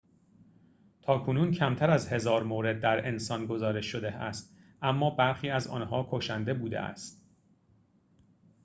تاکنون کمتر از هزار مورد در انسان گزارش شده است اما برخی از آنها کشنده بوده است